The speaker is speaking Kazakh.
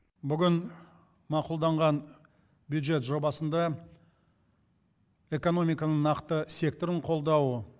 бүгін мақұлданған бюджет жобасында экономиканың нақты секторын қолдау